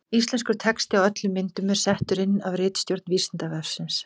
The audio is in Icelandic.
Íslenskur texti á öllum myndum er settur inn af ritstjórn Vísindavefsins.